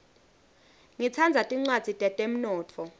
ngitsandza tincwadzi tetemnotfo